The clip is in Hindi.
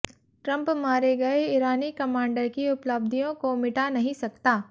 ट्रंप मारे गए ईरानी कमांडर की उपलब्धियों को मिटा नहीं सकता